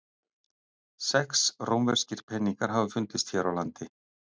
Sex rómverskir peningar hafa fundist hér á landi.